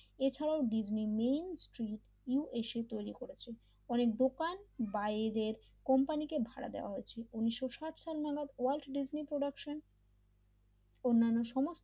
এছাড়াও ডিজনির Main Street USA তৈরি করেছে ফলে দোকান বাইরের কোম্পানিকে ভাড়া দেওয়া হয়েছিল উনিশ সাট নামক ওয়ার্ল্ড প্রোডাকশন অন্যান্য সমস্ত,